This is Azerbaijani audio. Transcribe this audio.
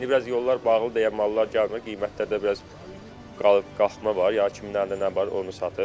İndi biraz yollar bağlıdır, deyə mallar gəlmir, qiymətlər də biraz qalxma var, ya kimdən də nə var, onu satır.